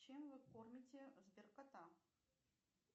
чем вы кормите сбер кота